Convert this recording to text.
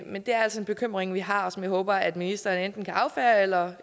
men det er altså en bekymring vi har og som jeg håber at ministeren enten kan affeje eller